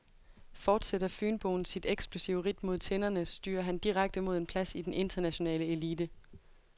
Fortsætter fynboen sit eksplosive ridt mod tinderne, styrer han direkte mod en plads i den internationale elite.